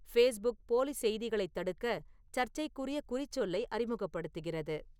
Facebook போலிச் செய்திகளைத் தடுக்க சர்ச்சைக்குரிய குறிச்சொல்லை அறிமுகப்படுத்துகிறது